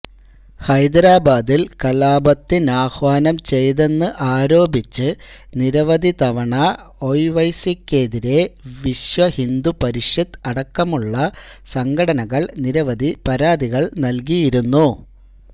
ഹൈദരാബാദില് കലാപത്തിനാഹ്വാനം ചെയ്തെന്ന് ആരോപിച്ച് നിരവധി തവണ ഒവൈസിക്കെതിരെ വിശ്വഹിന്ദുപരിഷത്ത് അടക്കമുള്ള സംഘടനകൾ നിരവധി പരാതികള് നല്കിയിരുന്നു